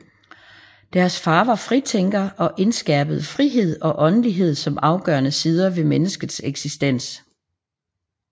Deres far var fritænker og indskærpede frihed og åndelighed som afgørende sider ved menneskets eksistens